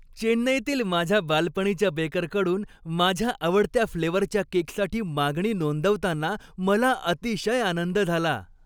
चेन्नईतील माझ्या बालपणीच्या बेकरकडून माझ्या आवडत्या फ्लेवरच्या केकसाठी मागणी नोंदवताना मला अतिशय आनंद झाला.